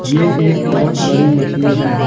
यह एक बहुत बड़ी मछली है।